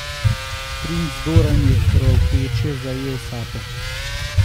Princ Doran je hropeče zajel sapo.